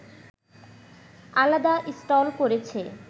আলাদা স্টল করেছে